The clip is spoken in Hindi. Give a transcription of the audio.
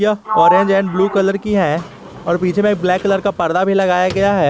यह ऑरेंज एंड ब्लू कलर की है और पीछे में ब्लैक कलर का पर्दा भी लगाया गया है।